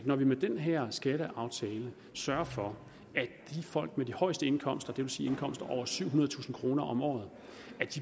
når vi med den her skatteaftale sørger for at folk med de højeste indkomster det vil sige indkomster over syvhundredetusind kroner om året